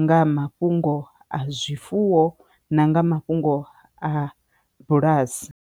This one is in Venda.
nga mafhungo a zwifuwo na nga mafhungo a bulasi.